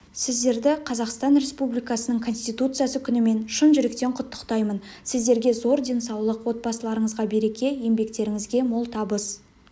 сіздерді қазақстан республикасының конституциясы күнімен шын жүректен құттықтаймын сіздерге зор денсаулық отбасыларыңызға береке еңбектеріңізге мол табыс